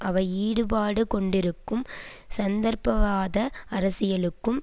அவை ஈடுபாடுகொண்டிருக்கும் சந்தர்ப்பவாத அரசியலுக்கும்